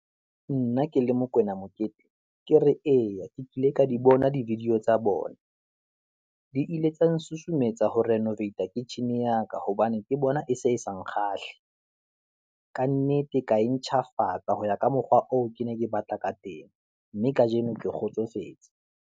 Nna ke le Mokwena Mokete, ke re eya ke kile ka di bona di video tsa bona, di ile tsa nsusumetsa ho renovate-a, kitchen-e ya ka hobane ke bona e se e sa nkgahla. Ka nnete ka e ntjhafatsa ho ya ka mokgwa oo ke neng ke batla ka teng, mme kajeno ke kgotsofetse.